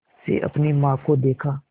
से अपनी माँ को देखा